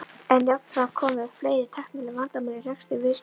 En jafnframt komu upp fleiri tæknileg vandamál í rekstri virkjunarinnar.